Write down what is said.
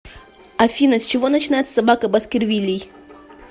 афина с чего начинается собака баскервилей